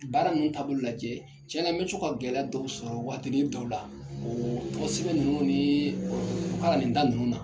Baara ninnu taabolo lajɛ, tiɲɛna n bɛ co ka gɛlɛ dɔw sɔrɔ wagatini dɔw la , tɔgɔ sɛbɛ ninnu ni o kalanden ta nin ninnu na.